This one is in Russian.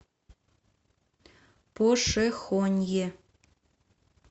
пошехонье